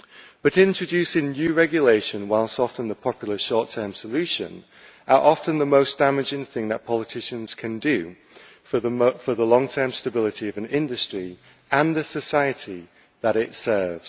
But introducing new regulation, whilst often the popular short term solution, is often the most damaging thing that politicians can do for the long term stability of an industry and the society that it serves.